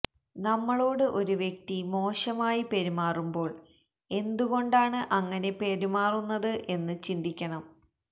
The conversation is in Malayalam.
നമ്മളോട് ഒരു വ്യക്തി മോശമായി പെരുമാറുമ്പോള് എന്തുകൊണ്ടാണ് അങ്ങനെ പെരുമാറുന്നത് എന്ന് ചിന്തിക്കണം